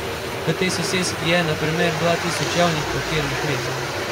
V tej soseski je na primer dva tisoč javnih parkirnih mest.